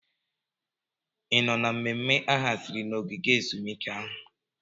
Ị nọ na mmemme a haziri na ogige ezumike ahụ?